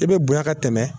I bɛ bonya ka tɛmɛ